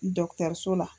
Dɔkitɛriso la